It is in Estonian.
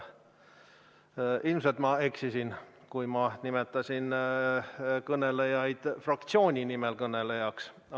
Ilmselt ma eksisin, kui ma nimetasin kõnelejaid fraktsiooni nimel kõnelejaks.